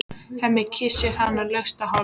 Hemmi kyssir hana laust á hálsinn.